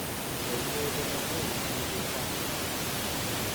koiywei kole mui tuchi risasit